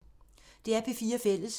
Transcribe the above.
DR P4 Fælles